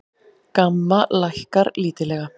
GAMMA lækkar lítillega